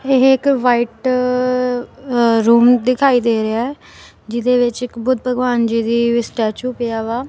ਇਹ ਇੱਕ white room ਦਿਖਾਈ ਦੇ ਰਿਹਾ ਹੈ ਜਿਹਦੇ ਵਿੱਚ ਇੱਕ ਬੁੱਧ ਭਗਵਾਨ ਜੀ ਦੀ ਸਟੈਚੂ ਪਿਆ ਵਾ।